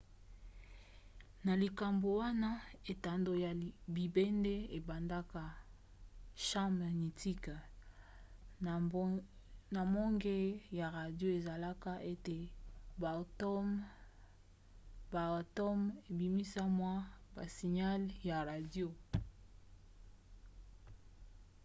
na likambo wana etando ya bibende ebendaka champ magnétique na mbonge ya radio esalaka ete baatomes ebimisa mwa basignale ya radio